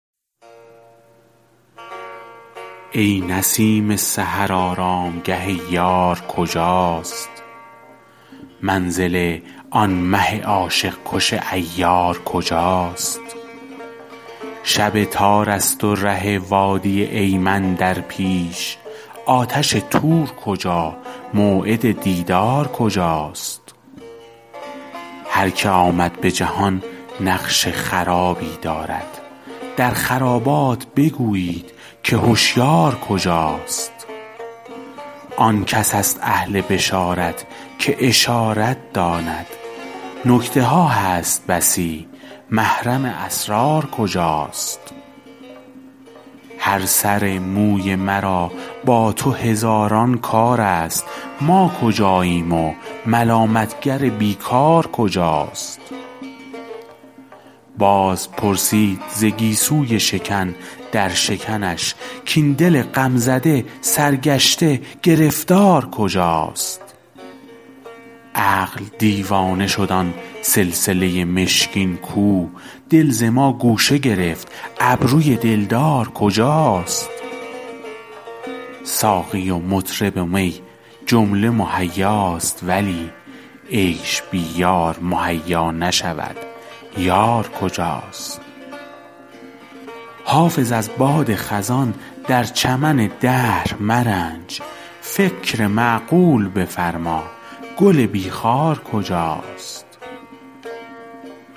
ای نسیم سحر آرامگه یار کجاست منزل آن مه عاشق کش عیار کجاست شب تار است و ره وادی ایمن در پیش آتش طور کجا موعد دیدار کجاست هر که آمد به جهان نقش خرابی دارد در خرابات بگویید که هشیار کجاست آن کس است اهل بشارت که اشارت داند نکته ها هست بسی محرم اسرار کجاست هر سر موی مرا با تو هزاران کار است ما کجاییم و ملامت گر بی کار کجاست باز پرسید ز گیسوی شکن در شکنش کاین دل غم زده سرگشته گرفتار کجاست عقل دیوانه شد آن سلسله مشکین کو دل ز ما گوشه گرفت ابروی دلدار کجاست ساقی و مطرب و می جمله مهیاست ولی عیش بی یار مهیا نشود یار کجاست حافظ از باد خزان در چمن دهر مرنج فکر معقول بفرما گل بی خار کجاست